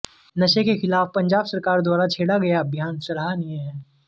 नशे के खिलाफ पंजाब सरकार द्वारा छेड़ा गया अभियान सराहनीय है